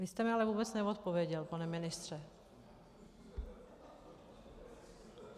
Vy jste mi ale vůbec neodpověděl, pane ministře.